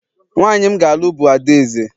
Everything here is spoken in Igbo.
nwanyị m ga-alụ bụ adaeze